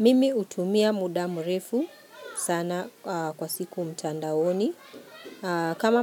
Mimi hutumia muda mrefu sana kwa siku mtandaoni kama